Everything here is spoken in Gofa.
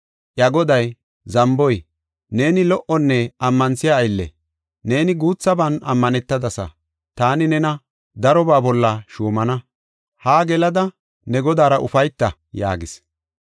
Iya goday, ‘Zamboy! Neeni lo77onne ammanthiya aylle; neeni guuthaban ammanetadasa. Taani nena darobaa bolla shuumana; haa gelada ne godaara ufayta’ yaagis.